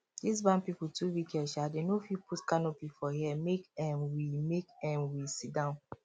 this bank people too wicked um dem no fit put canopy for here make um we make um we sit down